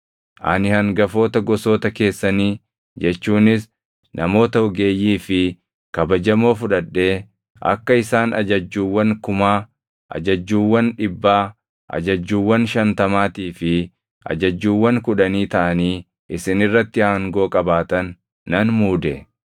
Ani hangafoota gosoota keessanii jechuunis namoota ogeeyyii fi kabajamoo fudhadhee akka isaan ajajjuuwwan kumaa, ajajjuuwwan dhibbaa, ajajjuuwwan shantamaatii fi ajajjuuwwan kudhanii taʼanii isin irratti aangoo qabaatan nan muude.